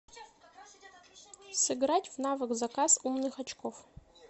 сыграть в навык заказ умных очков